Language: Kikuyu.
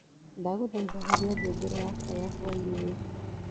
ndagũthaĩtha horĩa ngengere yakwa ya hwaĩnĩ uyu